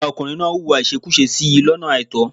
Ọ̀gá ọkùnrin náà hùwà ìṣekúṣe sí i lọ́nà àìtọ́.